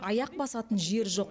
аяқ басатын жер жоқ